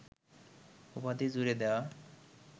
উপাধি জুড়ে দেওয়া